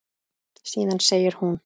Síðan segir hún